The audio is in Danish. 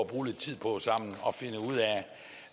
bruge lidt tid på sammen